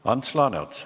Ants Laaneots.